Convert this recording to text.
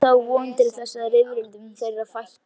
Það er þá von til þess að rifrildum þeirra fækki.